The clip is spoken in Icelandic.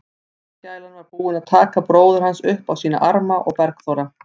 Barnagælan var búin að taka bróður hans upp á sína arma og Bergþóra